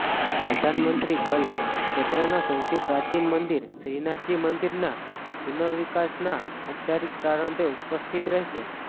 પ્રધાનમંત્રી ગલ્ફ ક્ષેત્રના સૌથી પ્રાચીન મંદિર શ્રીનાથજી મંદિરના પુનર્વિકાસના ઔપચારિક પ્રારંભે ઉપસ્થિત રહેશે